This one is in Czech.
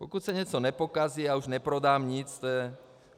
Pokud se něco nepokazí, já už neprodám nic.